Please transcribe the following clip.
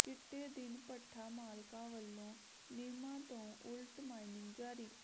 ਚਿੱਟੇ ਦਿਨ ਭੱਠਾ ਮਾਲਕਾਂ ਵੱਲੋਂ ਨਿਯਮਾਂ ਤੋਂ ਉਲਟ ਮਾਈਨਿੰਗ ਜਾਰੀ